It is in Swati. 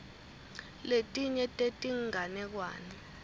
letinye tetinganekwane